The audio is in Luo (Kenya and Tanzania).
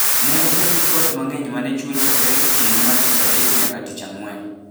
ne okel gi koth mang'eny ma ne chwe chakre otieno mar tich adek nyaka tich ang'wen